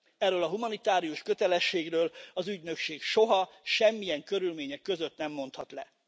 Erről a humanitárius kötelességről az ügynökség soha, semmilyen körülmények között nem mondhat le.